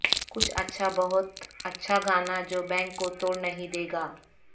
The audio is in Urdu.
کچھ بہت اچھا گانا جو بینک کو توڑ نہیں دے گا